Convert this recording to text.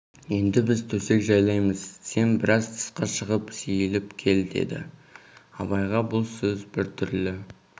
енді біз төсек жайлаймыз сен біраз тысқа шығып сейіліп кел деді абайға бұл сөз біртүрлі